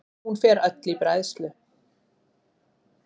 Hún fer öll í bræðslu.